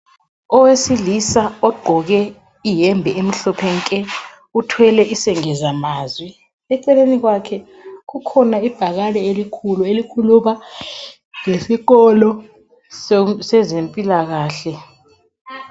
Owesilisa ogqoke iyembe emhlophe nke uthwele isengezamazwi, eceleni kwakhe kukhona ibhakani elikhulu elikhuluma ngesikolo sezempilakahle.